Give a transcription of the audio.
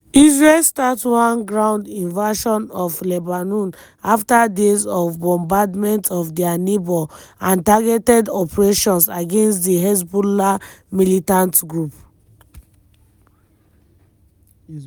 israel start one ground invasion of lebanon afta days of bombardment of dia neighbour and targeted operations against di hezbollah militant group.